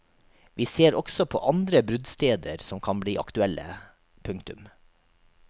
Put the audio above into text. Vi ser også på andre bruddsteder som kan bli aktuelle. punktum